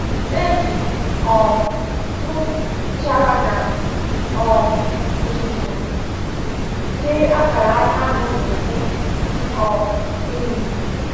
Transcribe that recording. E ji um m nchara na um uzuzu tee akara anyanwụ n'ubu um ehi m.